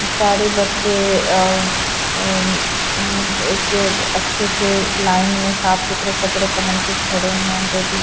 सारे बच्चे अअ अअअ एक अच्छे से लाइन में साफ सुथरे कपड़े पहन के खड़े हैं दो टीच--